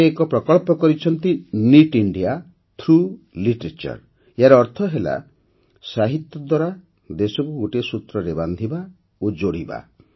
ସେ ଏକ ପ୍ରକଳ୍ପ କରିଛନ୍ତି ନିତ୍ ଇଣ୍ଡିଆ ଥ୍ରଗ୍ ଲିଟରେଚର ଏହାର ଅର୍ଥ ହେଲା ସାହିତ୍ୟ ଦ୍ୱାରା ଦେଶକୁ ଗୋଟିଏ ସୂତ୍ରରେ ବାନ୍ଧିବା ଓ ଯୋଡ଼ିବା